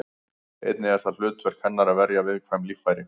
Einnig er það hlutverk hennar að verja viðkvæm líffæri.